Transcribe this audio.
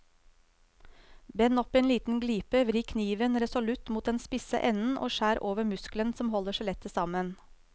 Bend opp en liten glipe, vri kniven resolutt mot den spisse enden og skjær over muskelen som holder skjellet sammen.